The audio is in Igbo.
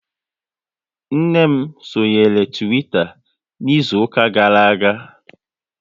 Nne m sonyere Twitter n'izuka gara aga